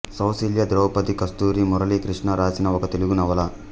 సౌశీల్య ద్రౌపది కస్తూరి మురళీకృష్ణ వ్రాసిన ఒక తెలుగు నవల